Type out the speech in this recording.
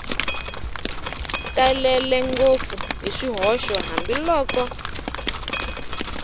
talele ngopfu hi swihoxo hambiloko